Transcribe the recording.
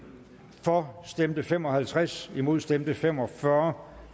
for stemte fem og halvtreds imod stemte fem og fyrre